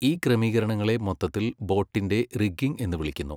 ഈ ക്രമീകരണങ്ങളെ മൊത്തത്തിൽ ബോട്ടിന്റെ റിഗ്ഗിംഗ് എന്ന് വിളിക്കുന്നു.